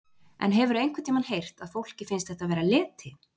En hefurðu einhvern tímann heyrt að fólki finnst þetta vera leti?